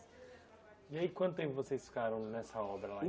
E aí, quanto tempo vocês ficaram nessa obra lá?